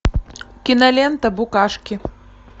кинолента букашки